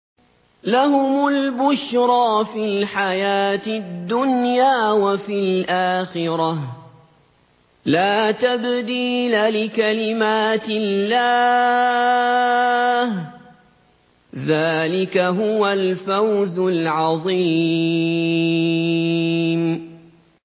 لَهُمُ الْبُشْرَىٰ فِي الْحَيَاةِ الدُّنْيَا وَفِي الْآخِرَةِ ۚ لَا تَبْدِيلَ لِكَلِمَاتِ اللَّهِ ۚ ذَٰلِكَ هُوَ الْفَوْزُ الْعَظِيمُ